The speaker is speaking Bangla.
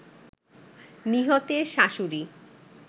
নিহতের শাশুড়ি